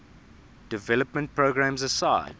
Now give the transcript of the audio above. development programs aside